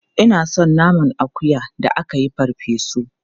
Ina son naman akuya da aka yi farfe su.